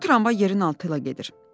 Bu tramvay yerin altı ilə gedir.